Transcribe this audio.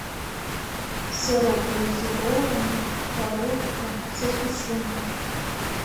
сырок глазированный коровка со сгущенкой